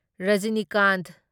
Rajinikanth